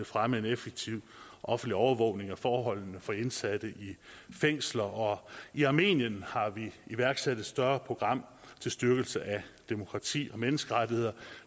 fremme en effektiv offentlig overvågning af forholdene for indsatte i fængsler og i armenien har vi iværksat et større program til styrkelse af demokrati og menneskerettigheder